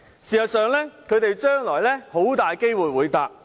事實上，他們將來很大機會會乘搭高鐵。